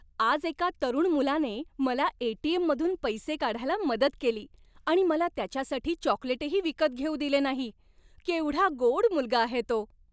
आज एका तरुण मुलाने मला ए.टी.एम.मधून पैसे काढायला मदत केली आणि मला त्याच्यासाठी चॉकलेटही विकत घेऊ दिले नाही. केवढा गोड मुलगा आहे तो.